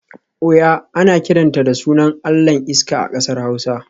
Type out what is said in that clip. Oya ana kiranta da sunan allahn iska a kasar hausa